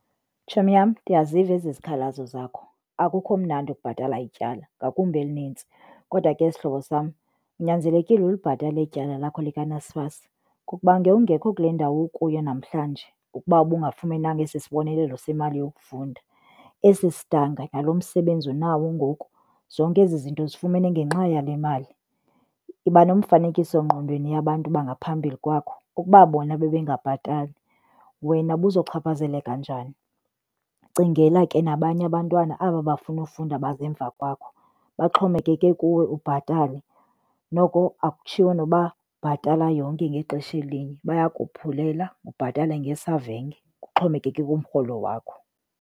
Tshomi yam, ndiyaziva ezi zikhalazo zakho. Akukho mnandi ukubhatala ityala ngakumbi elinintsi kodwa ke sihlobo sam unyanzelekile ulibhatale eli tyala lakho likaNSFAS kuba ngewungekho kule ndawo ukuyo namhlanje ukuba ubungafumenanga esi sibonelelo semali yokufunda. Esi sidanga nalomsebenzi unawo ngoku zonke ezi zinto uzifumene ngenxa yale mali. Yiba nomfanekiso ngqondweni yabantu bangaphambili kwakho ukuba bona bebengabhatali wena ubuzochaphazeleka njani. Cingela ke nabanye abantwana aba bafuna ufunda baza emva kwakho baxhomekeke kuwe ubhatale, noko akhutshiwo noba bhatala yonke ngexesha elinye bayakophulela ubhatale ngesavenge kuxhomekeke kumrholo wakho.